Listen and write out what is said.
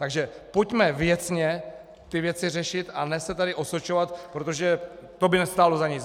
Takže pojďme věcně ty věci řešit a ne se tady osočovat, protože to by nestálo za nic.